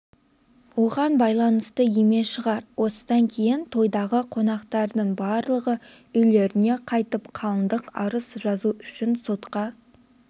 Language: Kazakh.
оған байланысты емес шығар осыдан кейін тойдағы қонақтардың барлығы үйлеріне қайтып қалыңдық арыз жазу үшін сотқа